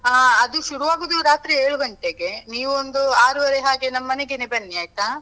ಆ ಅದು ಶುರು ಆಗೋದು ರಾತ್ರಿ ಏಳು ಗಂಟೆಗೆ, ನೀವ್ ಒಂದು ಆರೂವರೆ ಹಾಗೆ ನಮ್ ಮನೆಗೆ ಬನ್ನಿ ಆಯ್ತಾ.